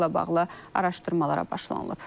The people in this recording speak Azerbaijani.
Faktla bağlı araşdırmalara başlanılıb.